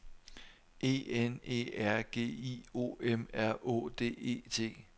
E N E R G I O M R Å D E T